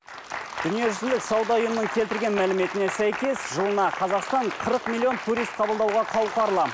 дүниежүзілік сауда ұйымының келтірілген мәліметіне сәйкес жылына қазақстан қырық миллион турист қабылдауға қауқарлы